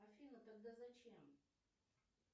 афина тогда зачем